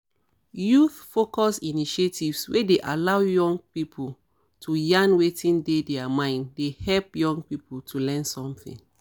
youth-focused initiatives wey dey allow people to yarn wetin dey their mind dey help young to learn something